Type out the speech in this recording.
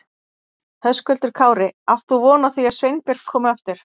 Höskuldur Kári: Átt þú von á því að Sveinbjörg komi aftur?